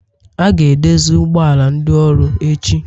A ga-edozi ụgbọ ala ndị ọrụ echi